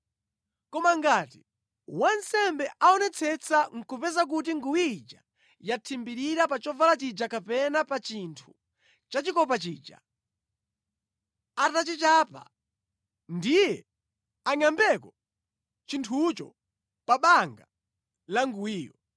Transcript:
Koma ngati wansembe aonetsetsa nʼkupeza kuti nguwi ija yathimbirira pa chovala chija kapena pa chinthu chachikopa chija atachichapa, ndiye angʼambeko chinthucho pa banga la nguwiyo.